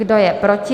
Kdo je proti?